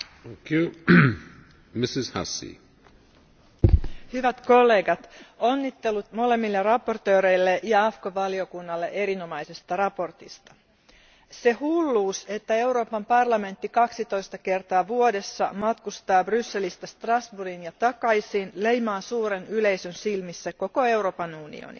Arvoisa puhemies, hyvät kollegat, onnittelut molemmille esittelijöille ja AFCO valiokunnalle erinomaisesta mietinnöstä. Se hulluus, että Euroopan parlamentti kaksitoista kertaa vuodessa matkustaa Brysselistä Strasbourgiin ja takaisin, leimaa suuren yleisön silmissä koko Euroopan unionin.